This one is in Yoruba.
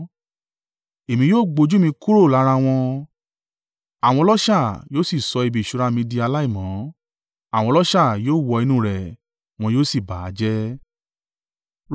Èmi yóò gbójú mi kúrò lára wọn, àwọn ọlọ́ṣà yóò sì sọ ibi ìṣúra mi di aláìmọ́; àwọn ọlọ́ṣà yóò wọ inú rẹ̀, wọn yóò sì bà á jẹ́.